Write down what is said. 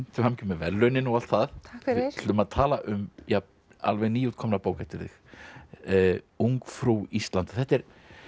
til hamingju með verðlaunin og allt það takk fyrir við ætlum að tala um alveg nýútkomna bók eftir þig ungfrú Ísland þetta er